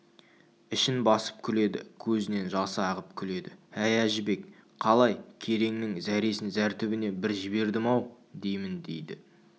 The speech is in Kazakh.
ішін басып күледі көзінен жасы ағып күледі әй әжібек қалай кереңнің зәресін зәр түбіне бір жібердім-ау деймін дейді